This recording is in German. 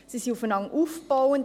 Diese sind aufeinander aufgebaut.